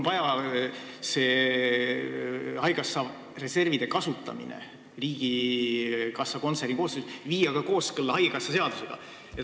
Haigekassa reservide kasutamine riigikassa kontsernikonto koosseisus tuleb viia kooskõlla haigekassa seadusega.